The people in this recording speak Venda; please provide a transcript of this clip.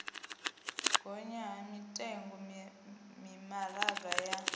gonya ha mitengo mimaraga ya